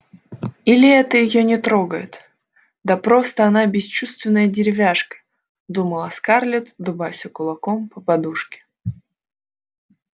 или это её не трогает да просто она бесчувственная деревяшка думала скарлетт дубася кулаком по подушке